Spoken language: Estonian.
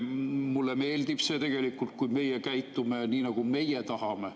Mulle meeldib see, kui meie käitume nii, nagu meie tahame.